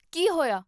ਕੀ ਹੋਇਆ?